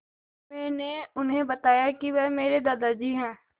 मैंने उन्हें बताया कि वह मेरे दादाजी हैं